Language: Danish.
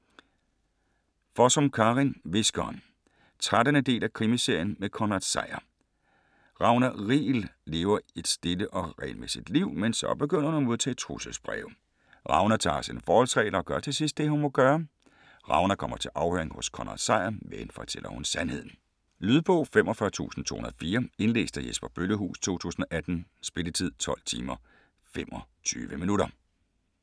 Fossum, Karin: Hviskeren 13. del af Krimiserien med Konrad Sejer. Ragna Riegel lever et stille og regelmæssigt liv, men så begynder hun at modtage trusselsbreve. Ragna tager sine forholdsregler og gør til sidst det, hun må gøre. Ragna kommer til afhøring hos Konrad Sejer, men fortæller hun sandheden? Lydbog 45204 Indlæst af Jesper Bøllehuus, 2018. Spilletid: 12 timer, 25 minutter.